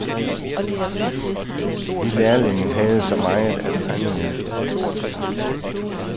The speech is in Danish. Vi lærlinge havde så meget at rende efter.